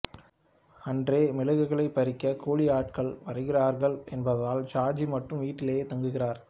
அன்றே மிளகுகளை பறிக்க கூலி ஆட்களும் வருகிறார்கள் என்பதால் ஷாஜி மட்டும் வீட்டில் தங்குகிறார்